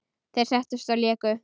Þeir settust og léku.